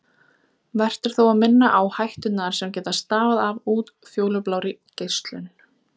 Vert er þó að minna á hætturnar sem geta stafað af útfjólublárri geislun.